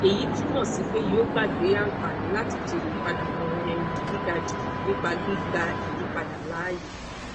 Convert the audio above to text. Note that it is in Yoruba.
eyi tumọ si pe yoo gbagbe anfani lati jere ipadabọ um giga ju nipa gbigba iyipada laaye